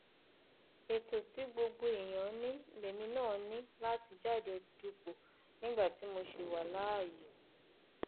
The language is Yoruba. ètò tí gbogbo èèyàn ní lèmi náà ní láti jáde dupò nígbà tí mo ṣì wà láàyè